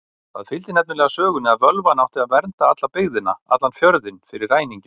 Það fylgdi nefnilega sögunni að völvan átti að vernda alla byggðina, allan fjörðinn, fyrir ræningjum.